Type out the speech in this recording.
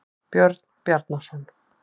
Björn Bjarnarson.